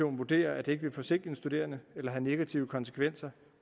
vurderer at det ikke vil forsinke den studerende eller have negative konsekvenser